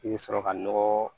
I bɛ sɔrɔ ka nɔgɔ